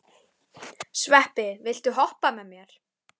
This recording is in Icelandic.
Sveppi, viltu hoppa með mér?